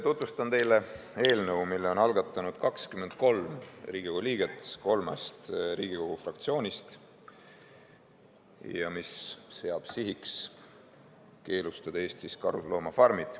Tutvustan teile eelnõu, mille on algatanud 23 Riigikogu liiget kolmest Riigikogu fraktsioonist ja mis seab sihiks keelustada Eestis karusloomafarmid.